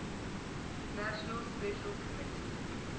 nations special committee